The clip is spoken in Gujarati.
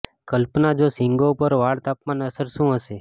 કલ્પના જો શીંગો પર વાળ તાપમાન અસર શું હશે